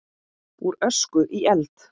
Úr ösku í eld?